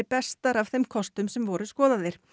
bestar af þeim kostum sem voru skoðaðir